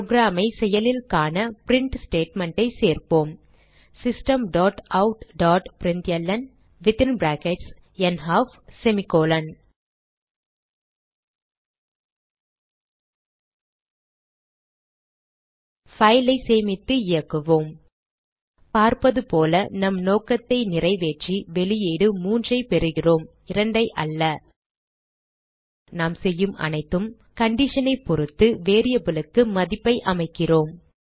program ஐ செயலில் காண பிரின்ட் ஸ்டேட்மெண்ட் சேர்ப்போம் systemoutபிரின்ட்ல்ன் file ஐ சேமித்து இயக்குவோம் பார்ப்பது போல நம் நோக்கத்தை நிறைவேற்றி வெளியீடு 3 ஐ பெறுகிறோம் 2 அல்ல நாம் செய்யும் அனைத்தும் condition ஐ பொருத்து variable க்கு மதிப்பை அமைக்கிறோம்